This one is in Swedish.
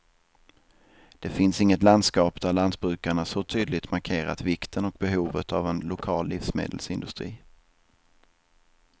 Det finns inget landskap där lantbrukarna så tydligt markerat vikten och behovet av en lokal livsmedelsindustri.